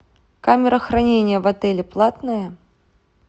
камера хранения в отеле платная